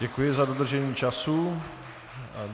Děkuji za dodržení času.